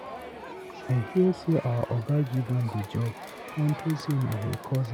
I hear say our Oga give am the job unto say na him cousin.